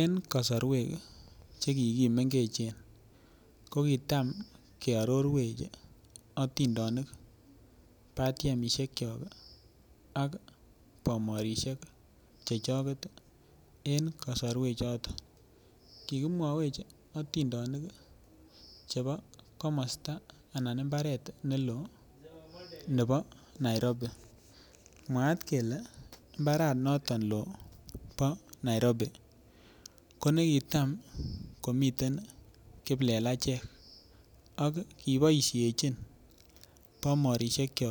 En kosorwek che kikimengechen ko kitam kiarorwech atindonik batiemishek cho ak bomorishek chechoket en kosorwek chotok kikimwowech atindonik chebo komosta anan imbaret nelo nebo Nairobi mwaat kele mbaranoton lo Nairobi konekitam komiten kiplelachek ak kiboishechin bomorishek cho